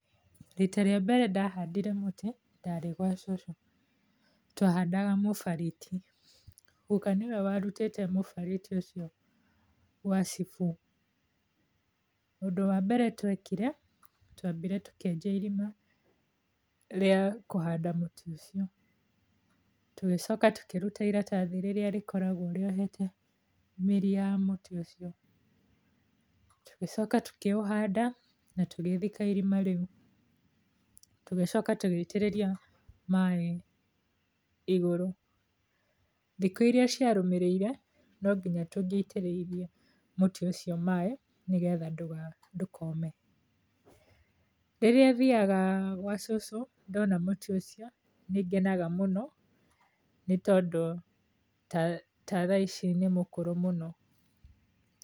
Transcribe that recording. Rita rĩa mbere ndahandire mũtĩ, ndarĩ gwa cũcũ. Twahandaga mũbariti. Gũka niwe warũtĩĩte mũbariti ũcio gwa cibũ. Ũndũ wa mbere twekire, twambire tũkĩenja irima rĩa kũhanda mũtĩ ũcio. Tũgicoka tũkĩruta iratathi rĩrĩa rĩkoragwo rĩohete mĩri ya mũtĩ ũcio. Tũgicoka tũkĩũhanda na tũgĩthika irima rĩu. Tũgĩcoka tũgĩitĩrĩrĩa maaĩ igurũ. Thiku iria ciarũmĩrĩire, no nginya tũngĩaitĩrĩirie mũtĩ ũcio maaĩ nĩ getha ndũkome. Rĩrĩa thiaga gwa cũcũ, ndona mũtĩ ũcio nĩngenaga mũno nĩ tondũ ta tha ici nĩ mũkũrũ mũno.